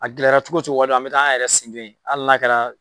A gɛlɛra cogo cogo waati dɔw an be taa an yɛrɛ sigilen hali n'a kɛra